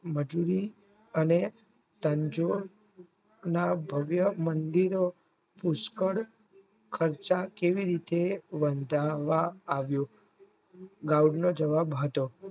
મજૂરી અને તનજો ના ધ્વય પુષ્કળ ખર્ચ કેવી રીતે વટાળવાં આવ્યો Guide નો જવાબ હતો